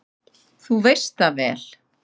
Þú veist það vel!